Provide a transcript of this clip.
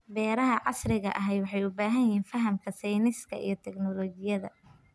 Beeraha casriga ahi waxay u baahan yihiin fahamka sayniska iyo tignoolajiyada.